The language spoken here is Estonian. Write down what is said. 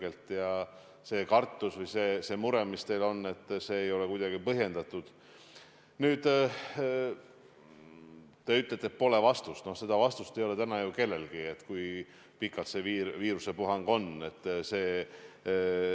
Esimeses vastuses ei vastanud te täpselt sellele, millal pääsevad saartel elavad inimesed mandrile samadel tingimustel, nagu näiteks Tartu inimesed, Tallinna inimesed, Harjumaa inimesed.